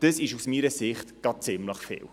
Dies ist aus meiner Sicht ziemlich viel.